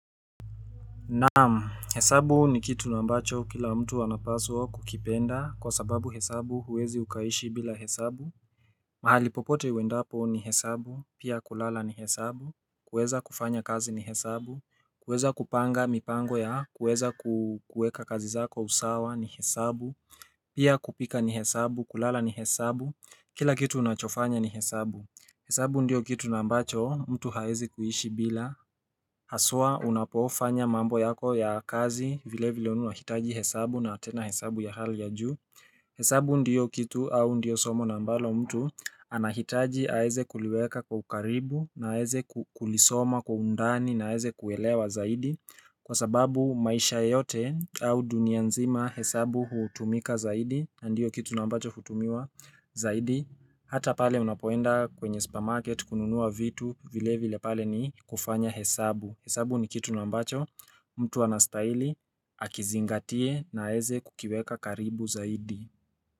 Na'am, hesabu ni kitu nambacho kila mtu anapaswa kukipenda kwa sababu hesabu huwezi ukaishi bila hesabu mahali popote uendapo ni hesabu, pia kulala ni hesabu, kuweza kufanya kazi ni hesabu, kuweza kupanga mipango ya kuweza kuweka kazi zako usawa ni hesabu Pia kupika ni hesabu, kulala ni hesabu, kila kitu unachofanya ni hesabu. Hesabu ndiyo kitu nambacho mtu haezi kuishi bila Haswa unapofanya mambo yako ya kazi vile vile unahitaji hesabu na tena hesabu ya hali ya juu hesabu ndiyo kitu au ndiyo somo nambalo mtu anahitaji aweze kuliweka kwa ukaribu na aweze kulisoma kwa undani na aweze kuelewa zaidi Kwa sababu maisha yote au dunia nzima hesabu hutumika zaidi na ndiyo kitu nambacho hutumiwa zaidi Hata pale unapoenda kwenye supamarket kununua vitu vile vile pale ni kufanya hesabu. Hesabu ni kitu nambacho mtu anastahili akizingatie na aweze kukiweka karibu zaidi.